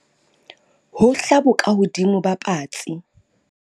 hohla bokahodimo ba patsi